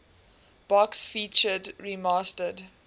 box featured remastered